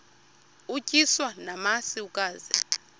utyiswa namasi ukaze